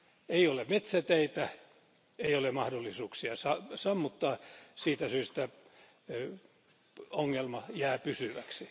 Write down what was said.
Ei ole metsäteitä, ei ole mahdollisuuksia sammuttaa, siitä syystä ongelma jää pysyväksi.